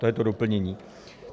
To je to doplnění.